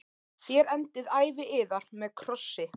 Þér endið ævi yðar með krossi.